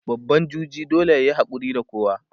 babba juji dole yayi hakuri da kowa